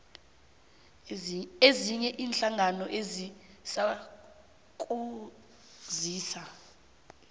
ezinye iinhlangano ezizakusiza